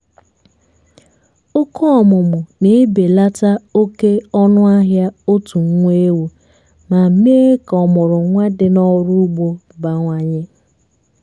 oke ọmụmụ na-ebelata oké ọnụahịa otú nwa ewu ma mee ka ọmụrụnwa dị n'ọrụ́ ugbo bawanye